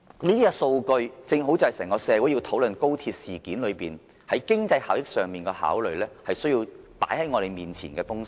這些數據正正關乎整個社會在討論高鐵事件期間，在經濟效益上所作的考慮，也是需要放在我們眼前的東西。